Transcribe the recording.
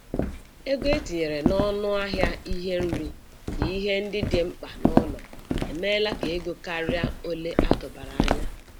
Ego etinyere n'ọnụ ahịa ihe nri na ihe ndị dị mkpa n'ụlọ emela ka ego karịa ole atụbara anya.